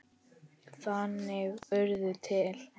Þannig urðu til